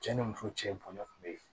Cɛ ni muso cɛ bɔn kun be yen